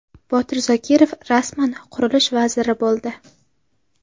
Botir Zokirov rasman Qurilish vaziri bo‘ldi.